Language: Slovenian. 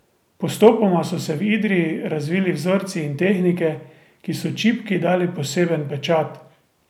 Postopoma so se v Idriji razvili vzorci in tehnike, ki so čipki dali poseben pečat.